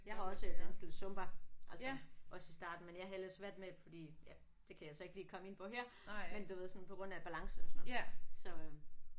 Jeg har også danset lidt zumba altså også i starten men jeg havde ellers svært med det fordi ja det kan jeg så ikke lige komme ind på her men du ved sådan på grund af balance og sådan noget så øh